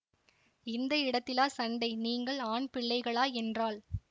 இந்த இடத்திலா சண்டை நீங்கள் ஆண் பிள்ளைகளா என்றாள்